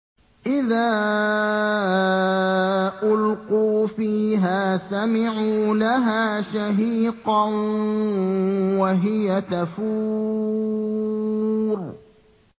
إِذَا أُلْقُوا فِيهَا سَمِعُوا لَهَا شَهِيقًا وَهِيَ تَفُورُ